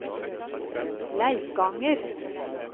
Leikanger